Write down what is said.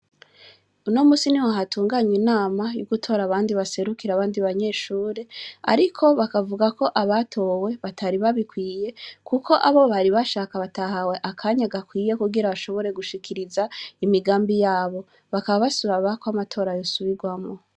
Unomusi niho hatunganwya inama yo gutora abandi baserukira abandi banyeshure ariko bakavuga ko abatowe batari babikwiye kuko abo bari bashaka batahawe akanya gakwiye kugira bashobore gushikiriza imigambi yabo. Bakaba basaba kw'amatora yosubirwamwo.